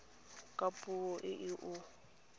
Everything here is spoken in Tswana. ka puo e o e